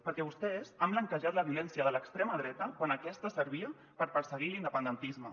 perquè vostès han blanquejat la violència de l’extrema dreta quan aquesta servia per perseguir l’independentisme